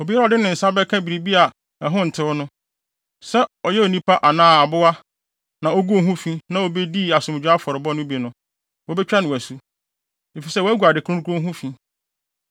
Obiara a ɔde ne nsa bɛka biribi a ɛho ntew no, sɛ ɛyɛ onipa anaa aboa na oguu ho fi na obedii asomdwoe afɔrebɔde no bi no, wobetwa no asu, efisɛ wagu ade kronkron ho fi.’ ”